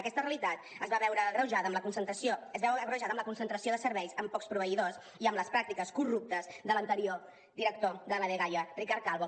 aquesta realitat es veu agreujada amb la concentració de serveis en pocs proveïdors i amb les pràctiques corruptes de l’anterior director de la dgaia ricard calvo